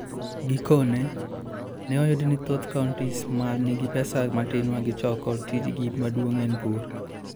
Gikone, ne oyud ni thoth counties ma nigi pesa matin ma gichoko, tijgi maduong' en pur.